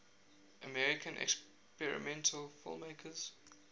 american experimental filmmakers